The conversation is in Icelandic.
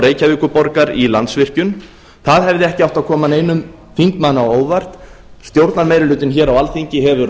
reykjavíkurborgar í landsvirkjun það hefði ekki átt að koma neinum þingmanni á óvart stjórnarmeirihlutinn hér á alþingi hefur